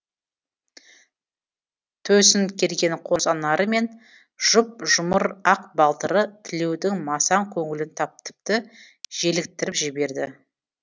төсін керген қос анары мен жұп жұмыр ақ балтыры тілеудің масаң көңілін тіпті желіктіріп жіберді